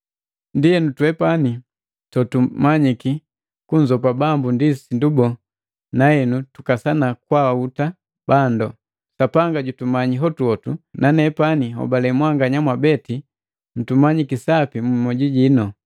Ndienu twepani tumanyiki kunzogopa Bambu ndi sindu boo na henu tukasana kwaahuta bandu. Sapanga jutumanyi hotuhotu na nepani nhobale mwanganya mwabeti mtumanyiki sapi mu mioju jinu.